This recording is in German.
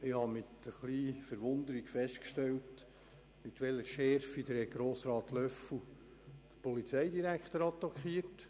Ich habe mit Verwunderung festgestellt, mit welcher Schärfe Grossrat Löffel-Wenger den Polizeidirektor attackiert.